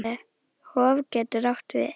Hof getur átt við